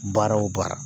Baara o baara